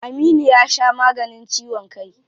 Aminu ya sha maganin ciwon kai.